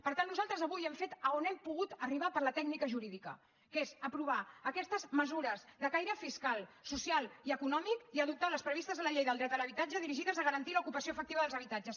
per tant nosaltres avui hem fet a on hem pogut arribar per la tècnica jurídica que és aprovar aquestes mesures de caire fiscal social i econòmic i adoptar les previstes a la llei del dret a l’habitatge dirigides a garantir l’ocupació efectiva dels habitatges